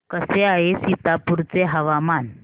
कसे आहे सीतापुर चे हवामान